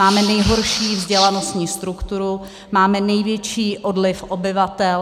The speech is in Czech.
Máme nejhorší vzdělanostní strukturu, máme největší odliv obyvatel.